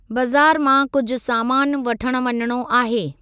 बज़ारि मां कुझु सामानु वठण वञणो आहे।